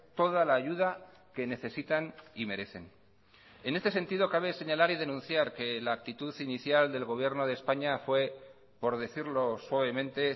toda la ayuda que necesitan y merecen en este sentido cabe señalar y denunciar que la actitud inicial del gobierno de españa fue por decirlo suavemente